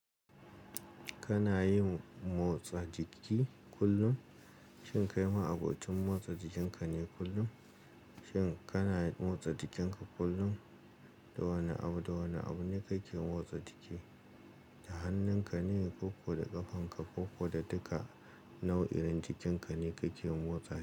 Kana yin motsa jiki kullum? Shin kai ma abokin motsa jikinka ne kullum? Shin kana motsa jikinka kullum? Da wane abu, da wane abu ne kake motsa jiki? Da hannunka ne ko ko da ƙafanka ko ko da duka nau'in jikinka ne kake motsa?